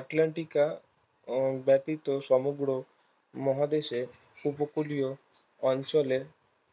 আটলান্টিকা আহ ব্যাতিত সমগ্র মহাদেশে উপকূলীয় অঞ্চলে